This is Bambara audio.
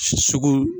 Sugu